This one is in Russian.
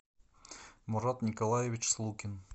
мурат николаевич слукин